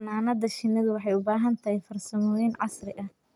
Xannaanada shinnidu waxay u baahan tahay farsamooyin casri ah.